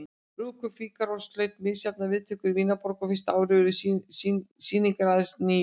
Brúðkaup Fígarós hlaut misjafnar viðtökur í Vínarborg og fyrsta árið urðu sýningar aðeins níu.